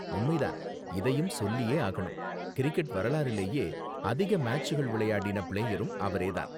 உண்மை தான். இதயும் சொல்லியே ஆகணும், கிரிக்கெட் வரலாறுலேயே அதிக மேட்சுகள் விளையாடின பிளேயரும் அவரே தான்.